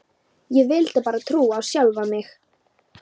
Ég vildi bara trúa á sjálfa mig.